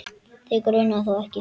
Þig grunar þó ekki?.